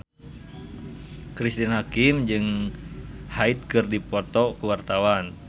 Cristine Hakim jeung Hyde keur dipoto ku wartawan